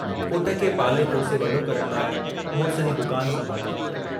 पुट खे पाले पोसे वडो करण लाइ मुड़िस जी दुकान संभाली।